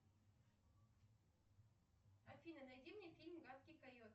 афина найди мне фильм гадкий кайот